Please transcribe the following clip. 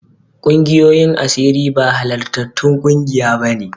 Ƙungiyoyin asiri ba halartattun ƙungiya bane.